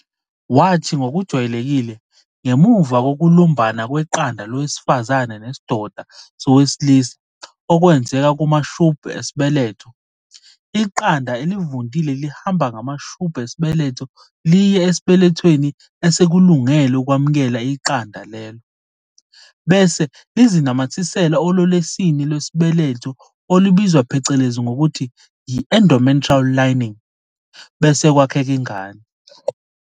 Wathi ngokujwayelekile, ngemuva kokulumbana kweqanda lowesifazane nesidoda sowesilisa okwenzeka kumashubhu esibeletho, iqanda elivundile lihamba ngamashubhu esibeletho liye esibelethweni esesikulungele ukwamukela iqanda lelo, bese lizinamathisela olwelwesini lwesibeletho olubizwa phecelezi ngokuthi yi-endometrial lining bese kwakheka ingane.